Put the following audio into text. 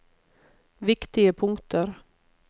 viktige punkter